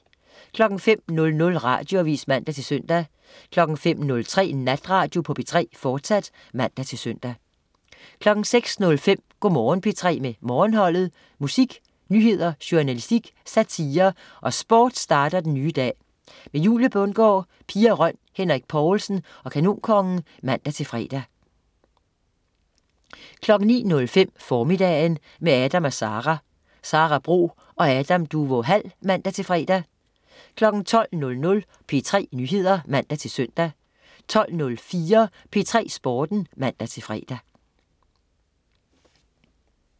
05.00 Radioavis (man-søn) 05.03 Natradio på P3, fortsat (man-søn) 06.05 Go' Morgen P3 med Morgenholdet. Musik, nyheder, journalistik, satire og sport starter den nye dag. Julie Bundgaard, Pia Røn, Henrik Povlsen og Kanonkongen (man-fre) 09.05 Formiddagen, med Adam & Sara. Sara Bro og Adam Duvå Hall (man-fre) 12.00 P3 Nyheder (man-søn) 12.04 P3 Sporten (man-fre)